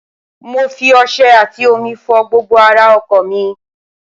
mo fi ọṣẹ àtì omi fọ gbogbo ara ọkọ̀ mi